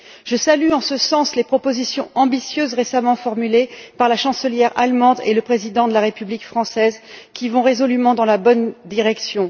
Je salue en ce sens les propositions ambitieuses qui ont été récemment formulées par la chancelière allemande et le président de la République française et qui vont résolument dans la bonne direction.